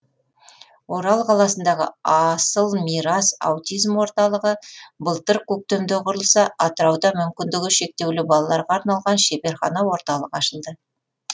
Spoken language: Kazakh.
орал қаласындағы асыл мирас аутизм орталығы былтыр көктемде құрылса атырауда мүмкіндігі шектеулі балаларға арналған шеберхана орталық ашылды